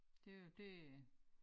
Det jo det øh